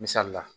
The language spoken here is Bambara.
Misali la